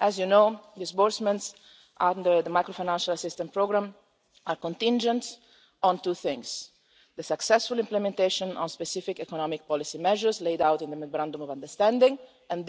As you know, disbursements under the macro-financial assistance programme are contingent on two things not only the successful implementation of specific economic policy measures laid out in the memorandum of understanding and